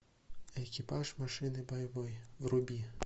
экипаж машины боевой вруби